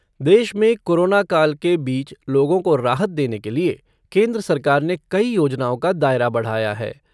देश में कोरोना काल के बीच लोगों को राहत देने के लिए केन्द्र सरकार ने कई योजनाओं का दायरा बढ़ाया हैं।